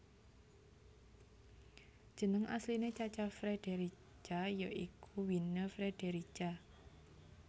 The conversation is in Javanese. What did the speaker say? Jeneng asline Cha Cha Frederica ya iku Wynne Frederica